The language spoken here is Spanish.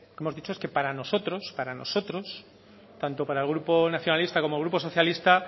hemos dicho que para nosotros para nosotros tanto para el grupo nacionalista como el grupo socialista